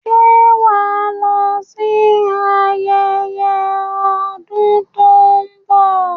Ṣé wà á lọ sí ayẹyẹ ọdún tó ń bọ̀?